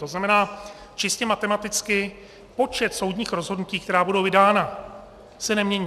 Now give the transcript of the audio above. To znamená, čistě matematicky, počet soudních rozhodnutí, která budou vydána, se nemění.